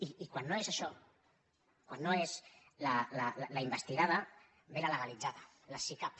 i quan no és això quan no és la investigada ve la legalitzada la sicav